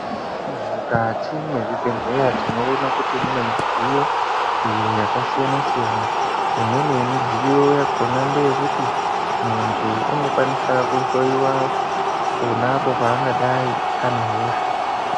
Mukati mwezvibhehleya tinoona kuti munemidziyo iyo yakasiyana-siyana, imweni yemidziyo yakona ndeyekuti munthu unokwaniswa kuhloyiwa ponapo paangadai anehosha.